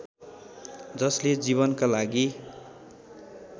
जसले जीवनका लागि